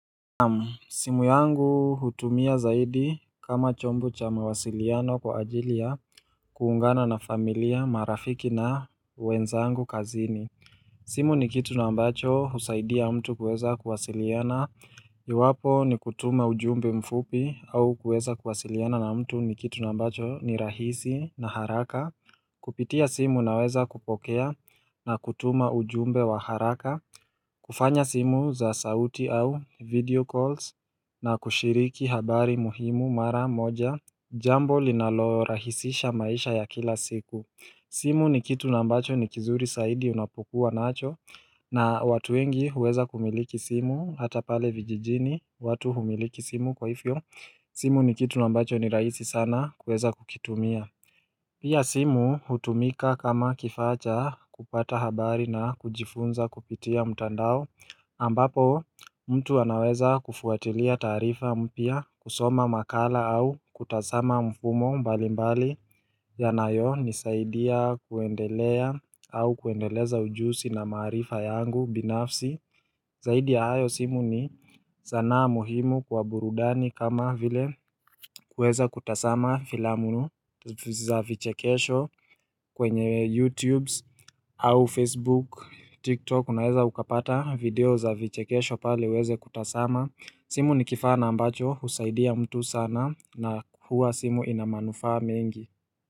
Simu yangu hutumia zaidi kama chombo cha mawasiliano kwa ajili ya kuungana na familia marafiki na wenzangu kazini simu ni kitu na ambacho husaidia mtu kueza kuwasiliana iwapo ni kutuma ujumbe mfupi au kueza kuwasiliana na mtu ni kitu na ambacho ni rahisi na haraka Kupitia simu naweza kupokea na kutuma ujumbe wa haraka kufanya simu za sauti au video calls na kushiriki habari muhimu mara moja Jambo linalorahisisha maisha ya kila siku simu ni kitu na ambacho ni kizuri saidi unapokuwa nacho na watu wengi huweza kumiliki simu Hata pale vijijini, watu humiliki simu kwa ifyo simu ni kitu na ambacho ni raisi sana kueza kukitumia Pia simu hutumika kama kifaa cha kupata habari na kujifunza kupitia mtandao ambapo mtu anaweza kufuatilia taarifa mpya kusoma makala au kutasama mfumo mbalimbali yanayonisaidia kuendelea au kuendeleza ujusi na maarifa yangu binafsi Zaidi ya hayo simu ni zanaa muhimu kwa burudani kama vile kuweza kutasama filamunu za vichekesho kwenye YouTube au Facebook, TikTok, unaweza ukapata video za vichekesho pale uweze kutasama. Simu ni kifaa na ambacho, husaidia mtu sana na huwa simu ina manufaa mengi.